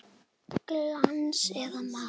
Glans eða matt?